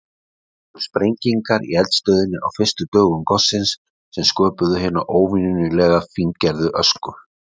Það voru sprengingar í eldstöðinni á fyrstu dögum gossins sem sköpuðu hina óvenjulega fíngerðu ösku.